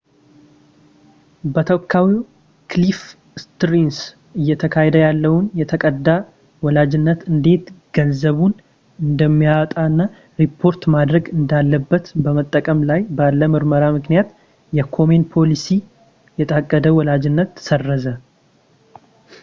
በተወካዩ ክሊፍ ስተርንስ እየተካሄደ ያለውን የታቀደ ወላጅነት እንዴት ገንዘቡን እንደሚያወጣ እና ሪፖርት ማድረግ እንዳለበት በመጠባበቅ ላይ ባለ ምርመራ ምክንያት የኮሜን ፖሊሲ የታቀደ ወላጅነትን ሰረዘ